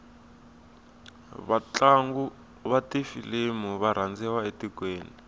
vatlangu vatifilimu varandziwa etikweni